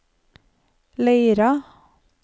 Leira